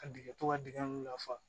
Ka dingɛ tɔ ka dingɛ lafa